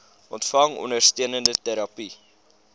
ontvang ondersteunende terapie